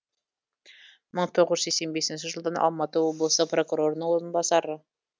мың тоғыз жүз сексен бесінші жылдан алматы облыстық прокурорының орынбасары